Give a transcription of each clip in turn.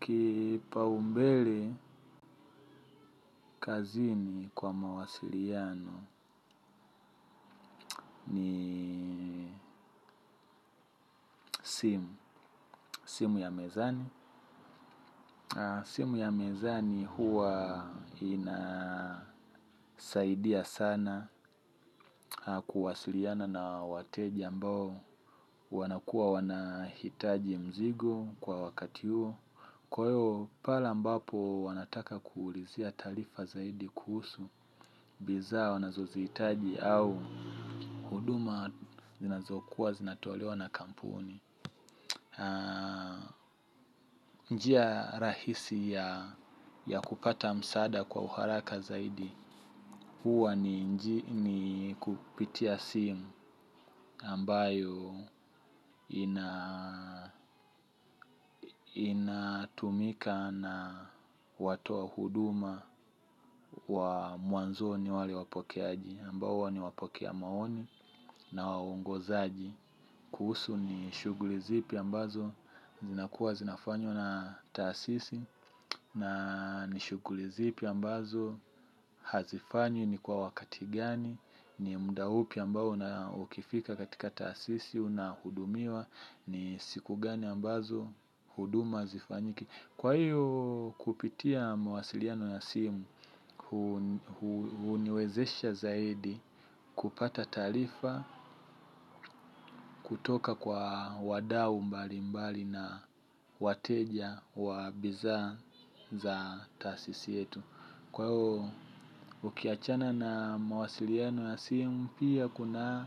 Kipa umbele kazini kwa mawasiliano simu ya mezani. Simu ya mezani huwa inasaidia sana kuwasiliana na wateja ambao wanakuwa wanahitaji mzigo kwa wakati huo. Kwa hiyo pale ambapo wanataka kuulizia talifa zaidi kuhusu bizaa wanazoziitaji au huduma zinazokuwa zinatualewa na kampuni. Njia rahisi ya kupata msaada kwa uharaka zaidi, huwa ni kupitia simu ambayo inatumika na watoa huduma wa mwanzoni wale wapokeaji. Ambao huwa ni wapokea maoni na waongozaji. Kuhusu ni shuguli zipi ambazo zinakuwa zinafanywa na taasisi na ni shugulizipi ambazo hazifanywi ni kwa wakati gani. Ni muda upi ambao na ukifika katika taasisi una hudumiwa ni siku gani ambazo huduma hazifanyiki. Kwa hiyo kupitia mawasiliano ya simu uniwezesha zaidi kupata taarifa kutoka kwa wadau mbali mbali na wateja wa bizaa za taasisi yetu kwa huo ukiachana na mawasiliano ya simu pia kuna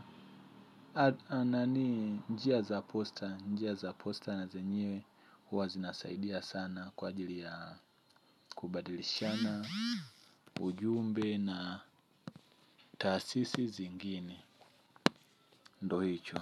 njia za posta njia za posta na zenyewe huwa zinasaidia sana kwa ajili ya kubadilishana ujumbe na taasisi zingine ndo hicho.